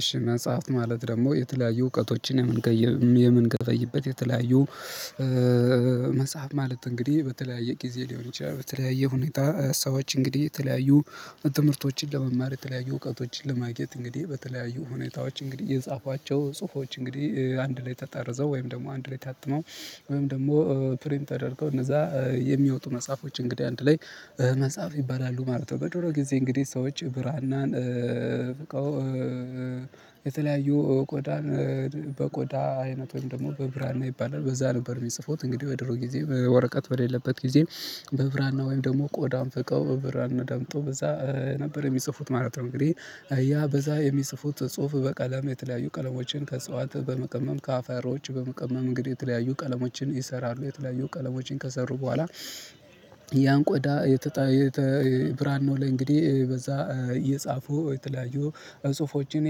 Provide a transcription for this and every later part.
እሺ መጽሐፍ ማለት ደግሞ የተለያዩ እውቀቶችን የምንገበይበት የተለያዩ መጽሐፍ ማለት እንግዲህ በተለያየ ጊዜ ሊሆን ይችላል በተለያየ ሁኔታ ሰዎች እንግዲህ የተለያዩ ትምህርቶችን ለመማር የተለያዩ እውቀቶችን ለማግኘት እንግዲህ በተለያዩ ሁኔታዎች እንግዲህ የጻፏቸው ጽሁፎች እንግዲህ አንድ ላይ ተጠርዘው ወይም ደግሞ አንድ ላይ ታጥመው ወይም ደግሞ ፕሪም ተደርገው እነዛ የሚያወጡ መጽሐፎች እንግዲህ አንድ ላይ መጽሐፍ ይባላሉ ማለት ነው። በድሮ ጊዜ እንግዲህ ሰዎች ብራናን ፍቀው የተለያዩ ቆዳን በቆዳ አይነት ወይም ደግሞ በብራና ይባላል በዛ ነበር የሚጽፉት እንግዲህ ወደ ድሮ ጊዜ በወረቀት በሌለበት ጊዜ በብራና ወይም ደግሞ ቆዳ ፍቀው ብራና ዳምጠው በዛ ነበር የሚጽፉት ማለት ነው። እንግዲህ ያ በዛ የሚጽፉት ጽሁፍ በቀለም የተለያዩ ቀለሞችን ከእጽዋት በመቀመም ከአፈሮች በመቀመም እንግዲህ የተለያዩ ቀለሞችን ይሰራሉ የተለያዩ ቀለሞችን ከሰሩ በኋላ ያን ቆዳ የተጣየ ብራናው ነው ለእንግዲህ በዛ እየጻፉ የተለያዩ ጽሁፎችን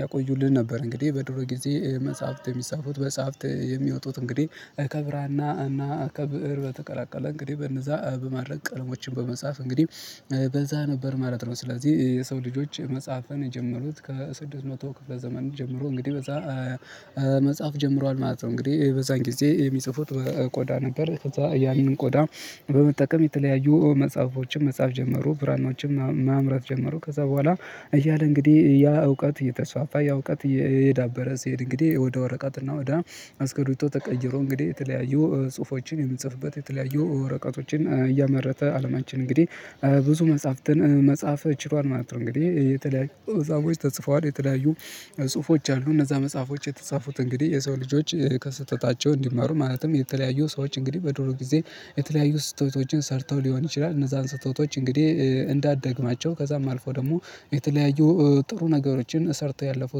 ያቆዩልን ነበር። እንግዲህ በድሮ ጊዜ መጽሐፍት የሚጻፉት መጽሐፍት የሚወጡት እንግዲህ ከብራና እና ከብእር በተቀላቀለ እንግዲህ በነዛ በማረግ ቀለሞችን በመጻፍ እንግዲህ በዛ ነበር ማለት ነው። ስለዚህ የሰው ልጆች መጽሐፍን የጀመሩት ከስድስት መቶ ክፍለ ዘመን ጀምሮ እንግዲህ በዛ መጽሐፍ ጀምሯል ማለት ነው። እንግዲህ በዛን ጊዜ የሚጽፉት ቆዳ ነበር ከዛ ያንን ቆዳ በመጠቀም የተለያዩ መጽሐፎችም መጻፍ ጀመሩ ብርሃኖችን ማምረት ጀመሩ ከዛ በኋላ እያለ እንግዲህ ያ እውቀት እየተስፋፋ ያ እውቀት እየሄዳበረ ሲሄድ እንግዲህ ወደ ወረቀትና ወደ አስከሬቶ ተቀይሮ እንግዲህ የተለያዩ ጽሁፎችን የምንጽፍበት የተለያዩ ወረቀቶችን እያመረተ አለማችን እንግዲህ ብዙ መጽሐፍትን መጽሐፍ ችሏል ማለት ነው። እንግዲህ የተለያዩ መጻፎች ተጽፈዋል የተለያዩ ጽሁፎች አሉ። እነዛ መጽሐፎች የተጻፉት እንግዲህ የሰው ልጆች ከስህተታቸው እንዲማሩ ማለትም የተለያዩ ሰዎች እንግዲህ በዶሮ ጊዜ የተለያዩ ስህተቶችን ሰርተው ሊሆን ይችላል እነዛን ስህተቶች እንግዲህ እንዳደግማቸው ከዛም አልፎ ደግሞ የተለያዩ ጥሩ ነገሮችን ሰርተው ያለፉ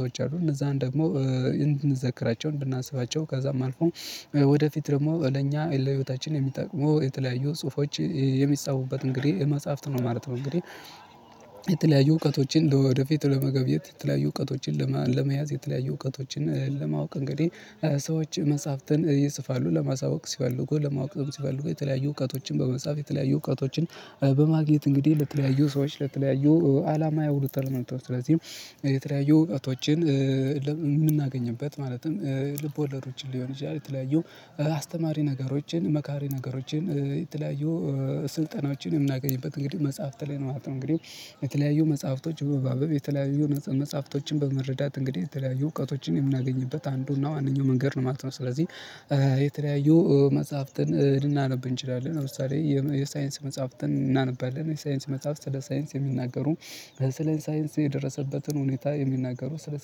ሰዎች አሉ እነዛን ደግሞ እንድንዘክራቸው እንድናስባቸው ከዛም አልፎ ወደፊት ደግሞ ለእኛ ለህይወታችን የሚጠቅመው የተለያዩ ጽሁፎች የሚጻፉበት እንግዲህ መጽሐፍት ነው ማለት ነው። እንግዲህ የተለያዩ እውቀቶችን ለወደፊት ለመገብየት የተለያዩ እውቀቶችን ለመያዝ የተለያዩ እውቀቶችን ለማወቅ እንግዲህ ሰዎች መጽሐፍትን ይፅፍሉ ለማሳወቅ ሲፈልጉ ለማወቅ ሲፈልጉ የተለያዩ እውቀቶችን በመጽሐፍ የተለያዩ እውቀቶችን በማግኘት እንግዲህ ለተለያዩ ሰዎች ለተለያዩ አላማ ያውሉታል ማለት ነው። ስለዚህም የተለያዩ እውቀቶችን የምናገኝበት ማለትም ልብ ወለዶችን ሊሆን ይችላል የተለያዩ አስተማሪ ነገሮችን መካሪ ነገሮችን የተለያዩ ስልጠናዎችን የምናገኝበት እንግዲህ መጽሐፍት ላይ ነው ማለት ነው። እንግዲህ የተለያዩ መጽሐፍቶች የተለያዩ መጽሐፍቶችን በመረዳት እንግዲህ የተለያዩ እውቀቶችን የምናገኝበት አንዱና ዋነኛው መንገድ ነው ማለት ነው። ስለዚህ የተለያዩ መጽሐፍትን ልናነብ እንችላለን። ለምሳሌ የሳይንስ መጽሐፍትን እናነባለን የሳይንስ መጽሐፍት ስለ ሳይንስ የሚናገሩ ስለ ሳይንስ የደረሰበትን ሁኔታ የሚናገሩ ስለ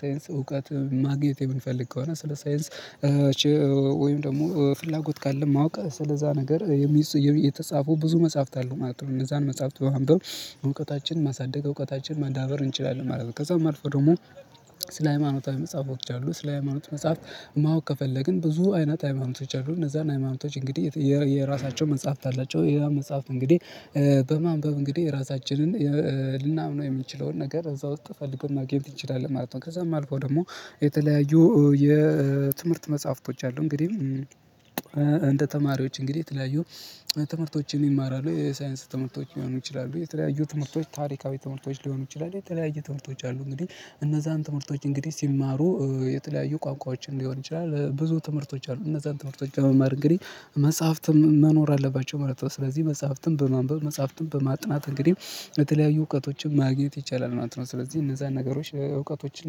ሳይንስ እውቀት ማግኘቴ የምንፈልግ ከሆነ ስለ ሳይንስ ወይም ደግሞ ፍላጎት ካለ ማወቅ ስለዛ ነገር የተጻፈው ብዙ መጽሐፍት አለ ማለት ነው። እነዛን መጽሐፍት በማንበር እውቀታችን ማሳደግ እውቀታችን ማንበብ እንችላለን። ከዛ መልኩ ደግሞ ስለ ሃይማኖታዊ መጽሐፎች አሉ ስለ ሃይማኖት መጽሐፍት ማወቅ ከፈለግን ብዙ አይነት ሃይማኖቶች አሉ እነዛን ሃይማኖቶች እንግዲህ የራሳቸው መጽሐፍት አላቸው ያም መጽሐፍት እንግዲህ በማንበብ እንግዲህ ራሳችንን ልናምነው የምንችለውን ነገር እዛ ውስጥ ፈልገን ማግኘት እንችላለን ማለት ነው። ከዛም አልፎ ደግሞ የተለያዩ የትምህርት መጽሐፍቶች አሉ። እንግዲህ እንደ ተማሪዎች እንግዲህ የተለያዩ ትምህርቶችን ይማራሉ የሳይንስ ትምህርቶች ሊሆኑ ይችላሉ የተለያዩ ትምህርቶች ታሪካዊ ትምህርቶች ሊሆኑ ይችላሉ የተለያዩ ትምህርቶች አሉ እንግዲህ እነዛን ትምህርቶች እንግዲህ ሲማሩ የተለያዩ ቋንቋዎችን ሊሆን ይችላል ብዙ ትምህርቶች አሉ እነዛን ትምህርቶች ከመማር እንግዲህ መጽሐፍትም መኖር አለባቸው ማለት ነው። ስለዚህ መጽሐፍትን በማንበብ መጽሐፍትን በማጥናት እንግዲህ በተለያዩ እውቀቶችን ማግኘት ይቻላል ማለት ነው። ስለዚህ እነዛን ነገሮች እውቀቶችን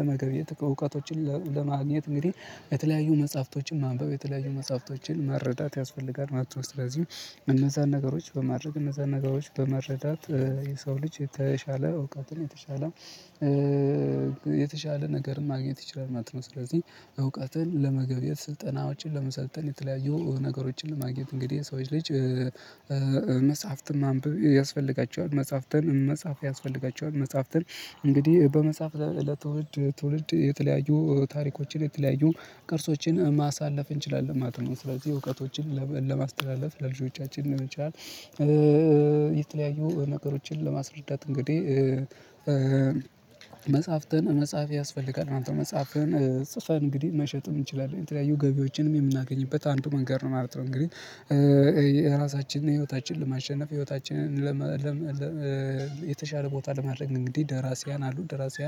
ለመገብየት እውቀቶችን ለማግኘት እንግዲህ የተለያዩ መጽሐፍቶችን ማንበብ የተለያዩ መጽሐፍቶችን መረዳት ያስፈልጋል ማለት ነው። ስለዚህ እነዛን ነገሮች በማድረግ እነዛን ነገሮች በመረዳት የሰው ልጅ የተሻለ እውቀትን የተሻለ የተሻለ ነገርን ማግኘት ይችላል ማለት ነው። ስለዚህ እውቀትን ለመገብየት ስልጠና ውጪን ለመሰልጠን የተለያዩ ነገሮችን ለማግኘት እንግዲህ ሰዎች ልጅ መጻፍትን ማንበብ ያስፈልጋቸዋል። መጻሐፍትን መጽሐፍ ያስፈልጋቸዋል መጻሐፍትን እንግዲህ በመጽሐፍ ለትውልድ ትውልድ የተለያዩ ታሪኮችን የተለያዩ ቅርሶችን ማሳለፍ እንችላለን ማለት ነው። ስለዚህ እውቀቶችን ለማስተላለፍ ለልጆቻችን መቻል የተለያዩ ነገሮችን ለማስረዳት እንግዲህ መጽሐፍትን መጽሐፍ ያስፈልጋል መጽሐፍን ጽፈን እንግዲህ መሸጥም እንችላለን የተለያዩ ገቢዎችንም የምናገኝበት አንዱ መንገድ ነው ማለት ነው። እንግዲህ የራሳችንን ህይወታችንን ለማሸነፍ ህይወታችንን የተሻለ ቦታ ለማድረግ እንግዲህ ደራሲያን አሉ ደራሲያን